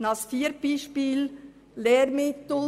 Ein viertes Beispiel sind die Lehrmittel.